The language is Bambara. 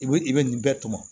I bɛ i bɛ nin bɛɛ tɔmɔ